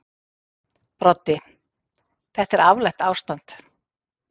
Broddi: Þetta er afleitt ástand.